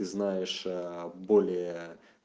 знаешь а более